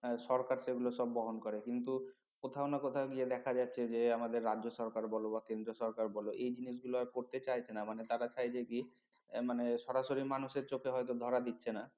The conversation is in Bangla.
সরকার তো এগুলো সব বহন করে কিন্তু কোথাও না কোথাও গিয়ে দেখা যাচ্ছে যে আমাদের রাজ্য সরকার বোলো বা কেন্দ্র সরকার বোলো এই জিনিস গুলো আর করতে চাইছে না মানে তার চাইছে কি মানে সরাসরি মানুষের চোখে হয়তো ধরা দিচ্ছে না